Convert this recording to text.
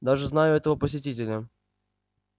даже знаю этого посетителя